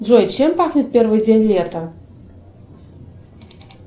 джой чем пахнет первый день лета